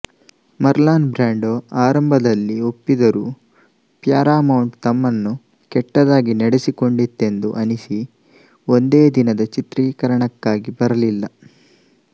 Marlon Brando ಆರಂಭದಲ್ಲಿ ಒಪ್ಪಿದರೂ Paramount ತಮ್ಮನ್ನು ಕೆಟ್ಟದಾಗಿ ನಡೆಸಿಕೊಂಡಿತೆಂದು ಅನಿಸಿ ಒಂದೇ ದಿನದ ಚಿತ್ರೀಕರಣಕ್ಕಾಗಿ ಬರಲಿಲ್ಲ